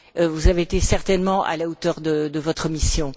Vous avez été certainement à la hauteur de votre mission.